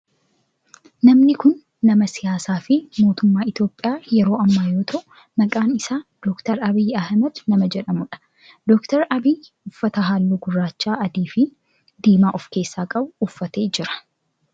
Namni kun nama siyaasaa fi mootummaa Itiyoophiyaa yeroo ammaa yoo ta'u maqaan isaa Dr. Abiyi Ahimeed nama jedhamudha. Dr. Abiyi uffata halluu gurraacha adii fi diimaa of keessaa qabu uffatee jira.